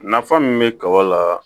Nafa min be kaba la